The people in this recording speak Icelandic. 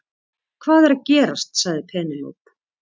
Hvað er að gerast sagði Penélope.